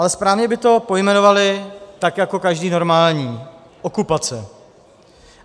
Ale správně by to pojmenovali tak jako každý normální - okupace.